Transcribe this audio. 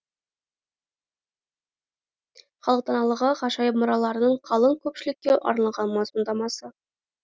халық даналығы ғажайып мұраларының қалың көпшілікке арналған мазмұндамасы